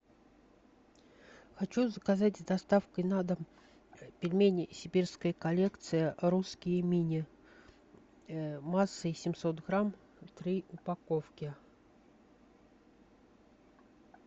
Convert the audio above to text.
хочу заказать с доставкой на дом пельмени сибирская коллекция русские мини массой семьсот грамм три упаковки